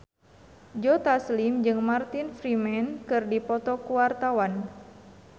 Joe Taslim jeung Martin Freeman keur dipoto ku wartawan